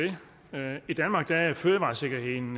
det i danmark er fødevaresikkerheden